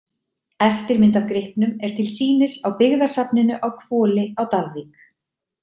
Eftirmynd af gripnum er til sýnis á byggðasafninu á Hvoli á Dalvík.